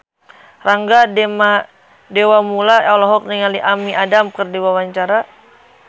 Rangga Dewamoela olohok ningali Amy Adams keur diwawancara